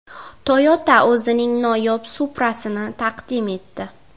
Toyota o‘zining noyob Supra’sini taqdim etdi.